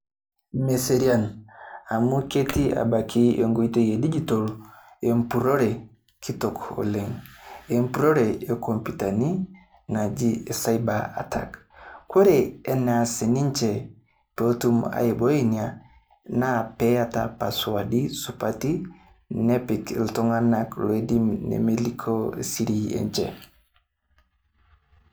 Meserian, amu ketii abaki enkoitoi e [vs]digital empurrore kitok oleng'. Empurrore enkompyutani[cs ] naji cyber attack , kore eneas ninche peetum aiboi ina naa peata  passwadi[vs] supati nepik iltung'ana loidim nemelikioo [vs]siri enche.